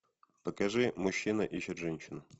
покажи мужчина ищет женщину